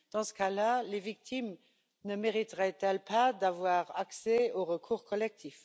dans ce cas là, les victimes ne mériteraient elles pas d'avoir accès au recours collectif?